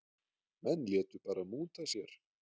Menn létu bara múta sér.